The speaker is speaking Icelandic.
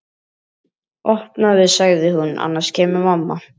Opnaðu sagði hún, annars kemur mamma